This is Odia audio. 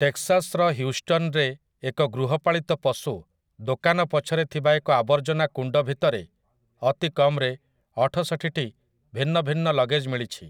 ଟେକ୍‌ସାସ୍‌ର ହ୍ୟୁଷ୍ଟନ୍‌ରେ ଏକ ଗୃହପାଳିତ ପଶୁ ଦୋକାନ ପଛରେ ଥିବା ଏକ ଆବର୍ଜନା କୁଣ୍ଡ ଭିତରେ ଅତିକମ୍‌ରେ ଅଠଷଠିଟି ଭିନ୍ନ ଭିନ୍ନ ଲଗେଜ୍‌ ମିଳିଛି ।